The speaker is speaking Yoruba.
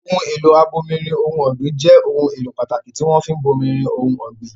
Ohun èlò abomirin ohun ọ̀gbìn jẹ́ ohun èlò pàtàkì tí wọ́n fi ń bomirin ohun ọ̀gbìn.